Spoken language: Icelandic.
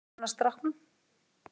Hvernig líður annars stráknum?